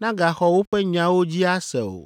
nagaxɔ woƒe nyawo dzi ase o.